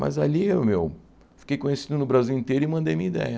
Mas ali, ô meu fiquei conhecido no Brasil inteiro e mandei minha ideia.